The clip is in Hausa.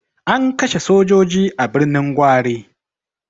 An kashe sojoji a Birnin Gwari.